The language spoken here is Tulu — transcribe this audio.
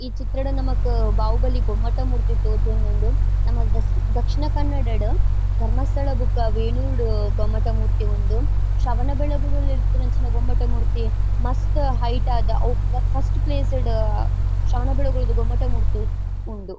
ಈ ಚಿತ್ರಡ್ ನಮಕ್ ಬಾಹುಬಲಿ ಗೊಮ್ಮಟ ಮೂರ್ತಿ ತೋಜೊಂದುಂಡು. ನಮ್ಮ ದಸ್ ದಕ್ಷಿಣ ಕನ್ನಡಡ್ ಧರ್ಮಸ್ಥಳ ಬೊಕ್ಕ ಬೇಳೂರ್ ಡ್ ಗೊಮ್ಮಟ ಮೂರ್ತಿ ಉಂಡು. ಶ್ರವಣ ಬೆಳಗೊಳ ಡ್ ಉಪ್ಪುನಂಚಿನ ಗೊಮ್ಮಟ ಮೂರ್ತಿ ಮಸ್ತ್ ಹೈಟ್ ಆದ್ ಅವ್ ಫಸ್ ಫಸ್ಟ್ ಪ್ಲೇಸ್ ಡ್ ಶ್ರವಣ ಬೆಳಗೊಳ ದ ಗೊಮ್ಮಟ ಮೂರ್ತಿ ಉಂಡು.